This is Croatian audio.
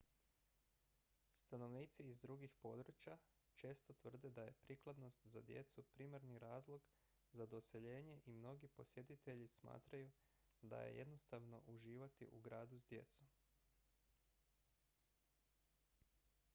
stanovnici iz drugih područja često tvrde da je prikladnost za djecu primarni razlog za doseljenje i mnogi posjetitelji smatraju da je jednostavno uživati u gradu s djecom